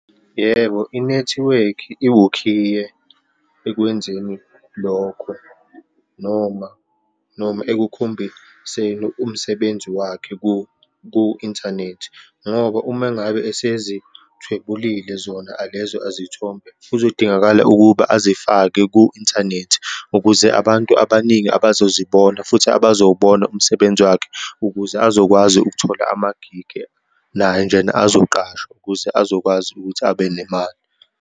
Yebo, inethiwekhi iwukhiye ekwenzeni lokho, noma, noma ekukhombiseni umsebenzi wakhe ku-inthanethi. Ngoba uma ngabe esezithwebulile zona alezo azithombe kuzodingakala ukuba azifake ku-inthanethi ukuze abantu abaningi abazozibona, futhi abazowubona umsebenzi wakhe, ukuze azokwazi ukuthola ama-gig, naye njena azoqashwa ukuze azokwazi ukuthi abe nemali.